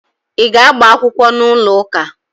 Ị ga-agba akwụkwọ n'ụlọụka?